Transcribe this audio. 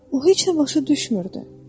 O heç nə başa düşmürdü.